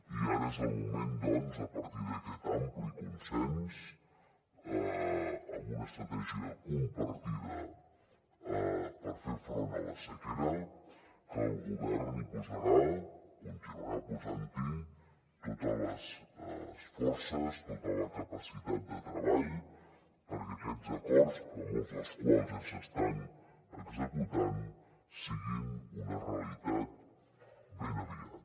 i ara és el moment doncs a partir d’aquest ampli consens amb una estratègia compartida per fer front a la sequera que el govern hi posarà continuarà posant hi totes les forces tota la capacitat de treball perquè aquests acords molts dels quals ja s’estan executant siguin una realitat ben aviat